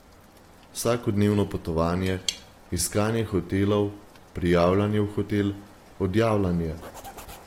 Vsakodnevno potovanje, iskanje hotelov, prijavljanje v hotel, odjavljanje.